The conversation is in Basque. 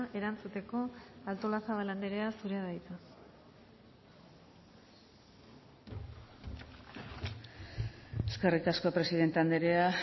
erantzuteko artolazabal anderea zurea da hitza eskerrik asko presidente anderea